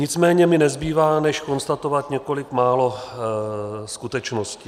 Nicméně mi nezbývá než konstatovat několik málo skutečností.